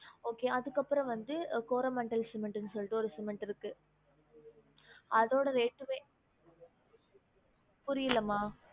Okay அதுக்கு அப்பறம் வந்து Coromandel cement னு சொல்லிட்டு ஒரு cement இருக்கு அதோட rate டுமே புரியலம்மா